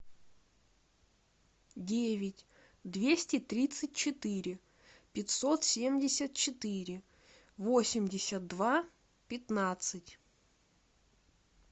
девять двести тридцать четыре пятьсот семьдесят четыре восемьдесят два пятнадцать